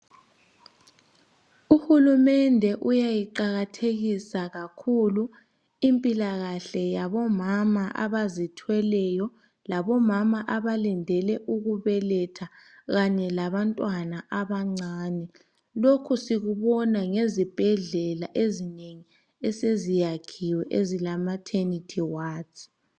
UHulumende uyayiqakathekisa kakhulu impilakahle yabomama abazithweleyo labomama abalindele ukubeletha kanye labantwana abancane lokhu sikubona ngezibhedlala ezingengi eseziyakhiwe ezilamathenethi wadi.